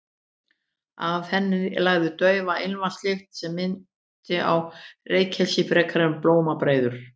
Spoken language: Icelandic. Af henni lagði daufa ilmvatnslykt sem minnti á reykelsi frekar en blómabreiður.